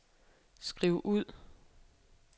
skriv ud